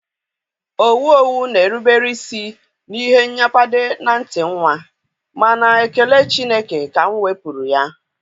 owu owu na-erubere isi n'ihe nnyapade na nti nwa, mana ekele Chineke ka m wepuru ya.